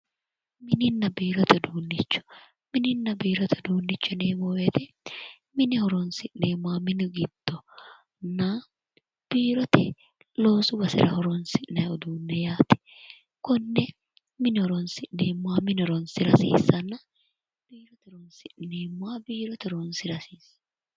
Mininna biirote uduunnicho mininna biirote uduunnicho yineemmo woyite mine horoonsi'neemmoha mini giddonna biirote loosu basera horoonsi'nayi uduunne yaate konne mine horoonsi'neemmoha mine horoonsira hasiissanna biirote horoonsi'neemmoha biirote horoonsira hasiissanno